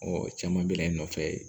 caman bɛ na i nɔfɛ